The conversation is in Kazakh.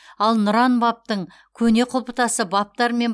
ал нұран бабтың көне құлыптасы бабтар мен